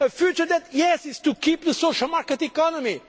of Europe. A future that, yes, is to keep the social market